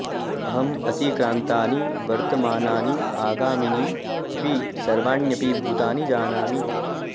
अहं अतिक्रान्तानि वर्तमानानि आगामीनि अपि सर्वाण्यपि भूतानि जानामि